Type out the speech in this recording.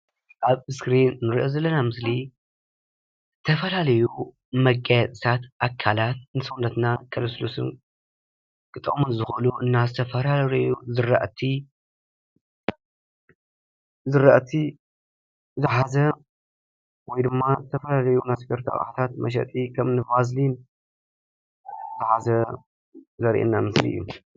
ኣብዚ ምስሊ እንሪኦ ዘለና ምስሊ ዝተፈላለዩ አካላት መገየፅታት ኣካላት ንሰብነትና ከለስሉሱ፣ ክጠቅሙ ዝክእሉ እና ዝተፈላለዩ ዝራእቲ ዝሓዘ ወይ ድማ ዝተፈላለዩ መፅፈረቲ ኣቁሑታት መሸጢ ዝሓዘ ከምኒ ቫዘሊን ዝሓዘ ዘሪኤና ምስሊ እዩ፡፡